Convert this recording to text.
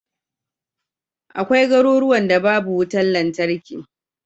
Akwai garuruwan da babu wutar lantarki.